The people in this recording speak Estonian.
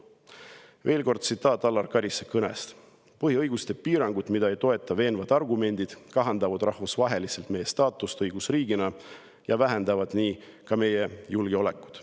Veel kord tsitaat Alar Karise kõnest: "Põhiõiguste piirangud, mida ei toeta veenvad argumendid, kahandavad rahvusvaheliselt meie staatust õigusriigina ja vähendavad nii ka meie julgeolekut.